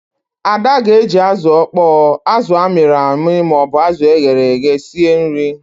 Ada ga-eji azụ ọkpọọ, azụ amịrị amị ma ọ bụ azụ e ghere eghe sie nri.